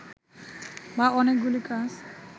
বা অনেকগুলি কাজ